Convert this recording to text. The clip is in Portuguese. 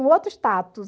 Um outro status.